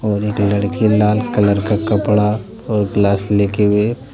और एक लड़की लाल कलर का कपड़ा और ग्लास लेते हुए--